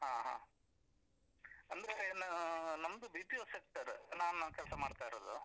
ಹಾ ಹಾ, ಅಂದ್ರೆನ ನಮ್ದು BPO sector ನಾನ್ ಕೆಲ್ಸ ಮಾಡ್ತಾ ಇರೋದು.